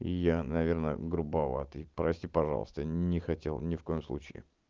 я наверное грубоватый прости пожалуйста не хотел ни в коем случае